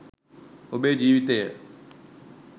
ඔබේ ජීවිතය